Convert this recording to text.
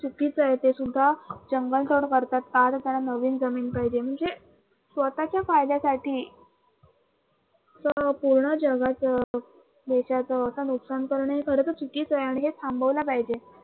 चुकीच आहे ते सुद्धा जंगल तोड करतात कारण त्यांना नवीन जमीन पाहिजे, म्हणजे स्वतः च्या फायद्या साठी आणि हे चुकीच आहे, आणि हे थांबवलं पाहिजे.